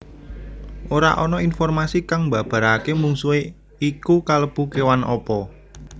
Ora ana informasi kang mbabaraké mungsuhé iku kalebu kéwan apa